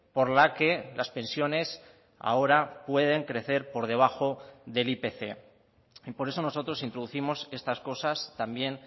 por la que las pensiones ahora pueden crecer por debajo del ipc y por eso nosotros introducimos estas cosas también